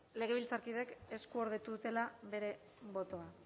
legebiltzarkidek eskuordetuta dutela bere botoa